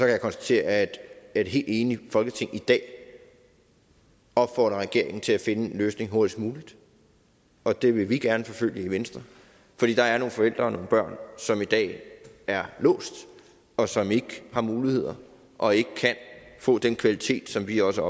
jeg konstatere at et helt enigt folketing i dag opfordrer regeringen til at finde en løsning hurtigst muligt og det vil vi gerne forfølge i venstre fordi der er nogle forældre og nogle børn som i dag er låst og som ikke har muligheder og ikke kan få den kvalitet som vi også